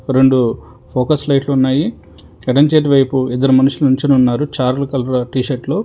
రొండు ఫోకస్ లైట్లు ఉన్నాయి ఎడమ చేతి వైపు ఇద్దరు మనుషులు నించొని ఉన్నారు చార్లు కలర్ టీషర్ట్ లో.